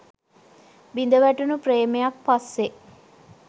බිඳවැටුණු ප්‍රේමයක් පස්සේ